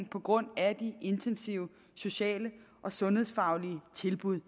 på grund af de intensive sociale og sundhedsfaglige tilbud